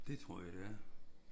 Det tror jeg det er